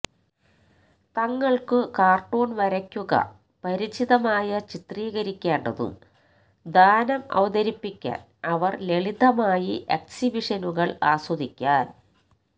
തങ്ങൾക്കു കാർട്ടൂൺ വരയ്ക്കുക പരിചിതമായ ചിത്രീകരിക്കേണ്ടതും ദാനം അവതരിപ്പിക്കാൻ അവർ ലളിതമായി എക്സ്ബിഷനുകൾ ആസ്വദിക്കാൻ